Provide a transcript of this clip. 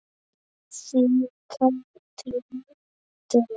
Þín Katrín Dögg.